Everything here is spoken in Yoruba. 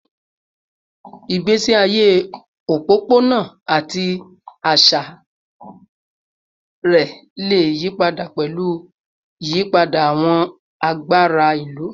Igbesi aye opopona ati aṣa rẹ le yipada pẹlu iyipada awọn agbara ilu